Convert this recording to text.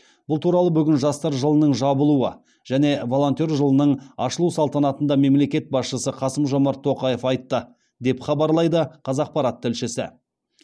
бұл туралы бүгін жастар жылының жабылуы және волонтер жылының ашылу салтанатында мемлекет басшысы қасым жомарт тоқаев айтты деп хабарлайды қазақпарат тілшісі